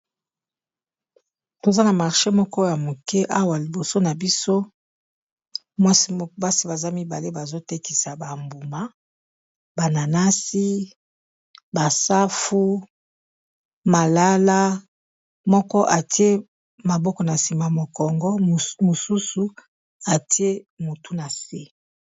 toza na marche moko ya moke awa liboso na biso basi baza mibale bazotekisa bambuma bananasi basafu malala moko atie maboko na sima mokongo mosusu atie motu nase